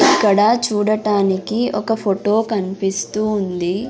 ఇక్కడ చూడటానికి ఒక ఫొటో కన్పిస్తూ ఉంది.